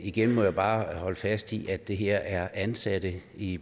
igen må jeg bare holde fast i at det her er ansatte i